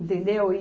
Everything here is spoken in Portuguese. Entendeu? E